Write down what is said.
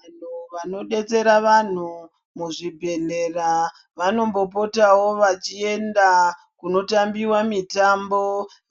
Vanhu vano detsera vanhu muzvibhedhlera, vano mbopotawo vachienda kuno tambiwa mitambo,